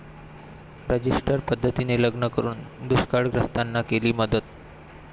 register पद्धतीने लग्न करून दुष्काळग्रस्तांना केली मदत